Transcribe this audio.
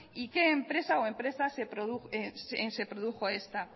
y en qué empresa o empresas se produjo esta